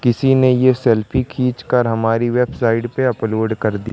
किसी ने ये सेल्फी खींचकर हमारी वेबसाइट पे अपलोड कर दी।